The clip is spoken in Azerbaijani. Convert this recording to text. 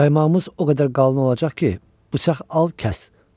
Qaymağımız o qədər qalın olacaq ki, bıçaq al, kəs.